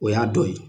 O y'a dɔ ye